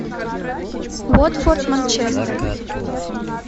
уотфорд манчестер